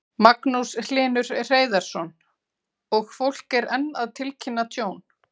Magnús Hlynur Hreiðarsson: Og fólk er enn að tilkynna tjón?